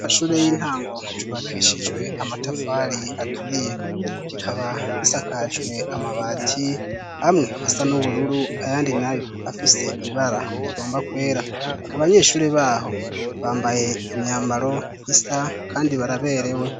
Ishure y'intango ryubakishijwe amatafali aturiye. Kikaba gisakajwe amabati, amwe asa n'ubururu ayandi nayo afise ibara rigomba kwera. Abanyeshuri baho bambaye imyambaro isa kandi baraberewe.